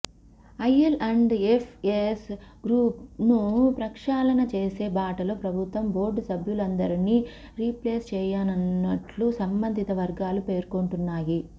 IL&FS గ్రూప్ను ప్రక్షాళన చేసే బాటలో ప్రభుత్వం బోర్డు సభ్యులందరినీ రీప్లేస్ చేయనున్నట్లు సంబంధిత వర్గాలు పేర్కొంటున్నాయి